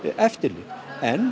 eftirlit en